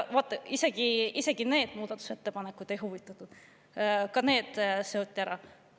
Aga isegi need muudatusettepanekud neid ei huvitanud, ka need seoti.